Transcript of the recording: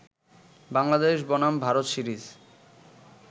বাংলাদেশ বনাম ভারত সিরিজ